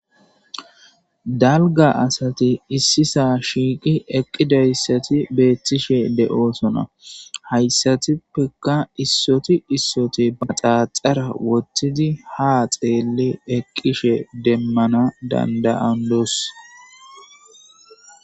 dalga asati issisa shiiqi eqqidayssati beettishe de'osona, hayssatippeka issoti issoti maxaaxara wottidi ha xeelli eqqishe demmana dandayandos